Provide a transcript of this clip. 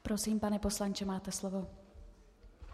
Prosím, pane poslanče, máte slovo.